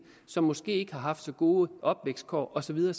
som måske ikke har haft så gode opvækstkår og så videre